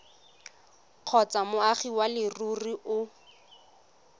kgotsa moagi wa leruri o